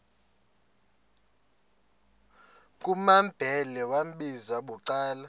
kumambhele wambizela bucala